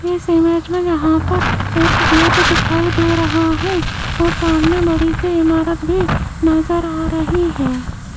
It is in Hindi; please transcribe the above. इस इमेज में यहां पर एक गेट दिखाई दे रहा है और सामने बड़ी से इमारत भी नजर आ रही है।